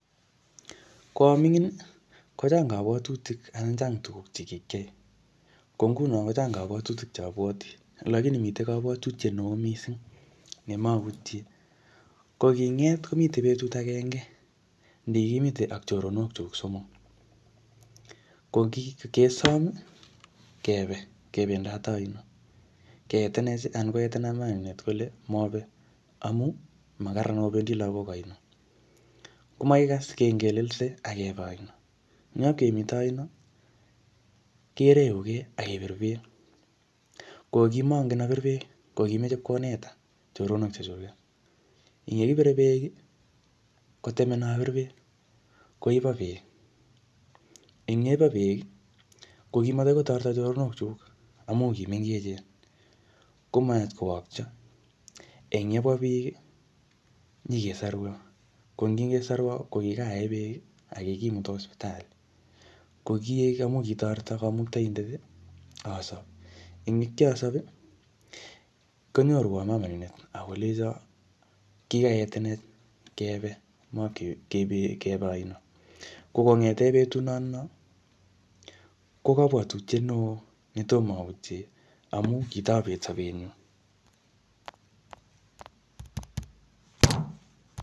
Ko aming'in, kochang kabwatutik anan chang tugk che kikiyai. Ko nguno kochang kabwatutik che abwoti. Lakini mitei kabwatutiet neoo missing ne mautie. Ko kinget, komitei betut agenge ne kikimite ak choronok chuk somok. Ko kikesom, kebe kebendate aino. Keetenech, anan koetena mama nenyunet kole mobe amuu makakararan obendi lagok aino. Ko makikas, kengelelse, akebe aino. Nyop kemite aino, kereguke, akepir beek. Ko kimangen apir beek, ko kimeche ipkoneta choronok chechuket. Eng yekipire beek, kotemena apir beek. Koiba beek. Eng yeibo beek, ko kimatakoi kotoreto choronok chuk amu kimengechen. Komayach kowokcho. Eng yebwaa biik, nyikesorwo. Ko ngikesorwo, ko kikaee beek, akikimuta sipitali. Ko kiek amu kitoreto kamuktaindet, asop. Eng yekiasop, konyorwo mama nenyunet akolenjo kikaetenech kebe, makebe aino. Ko kongete betut notono, ko kabwatutiet neoo netomo autie amu kitobet sabet nyu